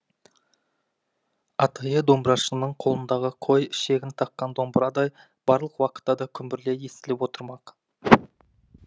атайы домбырашының қолындағы қой ішегін таққан домбырадай барлық уақытта да күмбірлей естіліп отырмақ